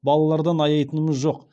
балалардан аяйтынымыз жоқ